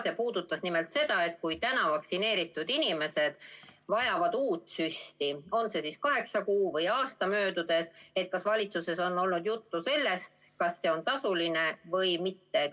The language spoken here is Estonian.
See puudutas nimelt seda, et kui täna vaktsineeritud inimesed vajavad uut süsti, on see siis kaheksa kuu või aasta möödudes, siis kas valitsuses on olnud juttu sellest, kas see on tasuline või mitte.